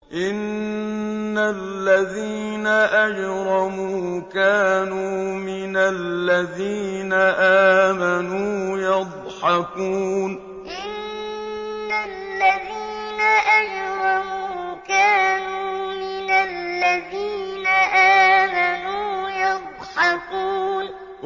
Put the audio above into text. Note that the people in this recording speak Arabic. إِنَّ الَّذِينَ أَجْرَمُوا كَانُوا مِنَ الَّذِينَ آمَنُوا يَضْحَكُونَ إِنَّ الَّذِينَ أَجْرَمُوا كَانُوا مِنَ الَّذِينَ آمَنُوا يَضْحَكُونَ